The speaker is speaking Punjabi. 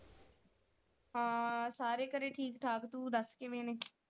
ਹਾਂ ਸਾਰੇ ਘਰੇ ਠੀਕ ਠਾਕ ਤੂੰ ਦੱਸ ਕਿਵੇਂ ਨੇ?